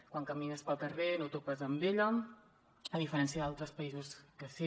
quan camines pel carrer no topes amb ella a diferència d’altres països que sí